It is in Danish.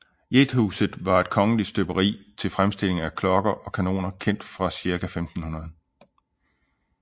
Gjethuset var et kongeligt støberi til fremstilling af klokker og kanoner kendt fra cirka 1500